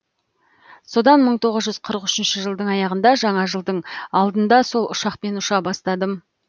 содан мың тоғыз жүз қырық үшінші жылдың аяғында жаңа жылдың алдында сол ұшақпен ұша бастадым